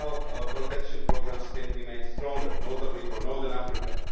too. Regional protection programmes can be made stronger, notably for Northern Africa.